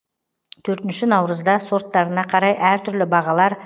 төртінші наурызда сорттарына қарай әртүрлі бағалар